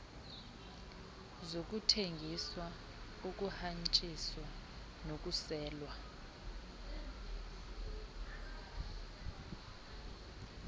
zokuthengiswa ukuhanjiswa nokuselwa